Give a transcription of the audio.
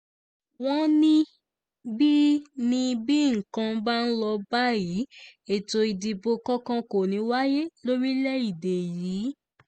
wọ́n ní bí ní bí nǹkan bá ń lọ báyìí ètò ìdìbò kankan kò ní í wáyé lórílẹ̀‐èdè yìí